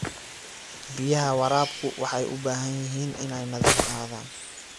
Biyaha waraabku waxay u baahan yihiin inay nadiif ahaadaan.